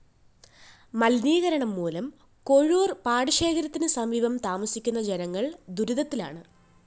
മലിനീകരണംമൂലം കൊഴൂര്‍ പാടശേഖരത്തിന് സമീപം താമസിക്കുന്ന ജനങ്ങള്‍ ദുരിതത്തിലാണ്